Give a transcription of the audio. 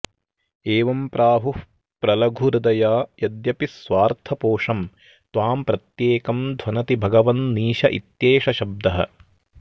एवं प्राहुः प्रलघुहृदया यद्यपि स्वार्थपोषं त्वां प्रत्येकं ध्वनति भगवन्नीश इत्येष शब्दः